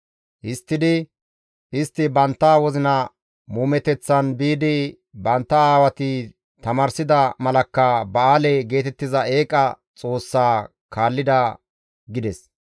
Histtidi istti bantta wozina muumeteththan biidi bantta aawati tamaarsida malakka Ba7aale geetettiza eeqa xoossa kaallida» gides.